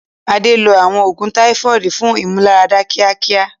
Adé lo àwọn oògùn Táífọ́ọ̀dù fún ìmúláradá kíákíá.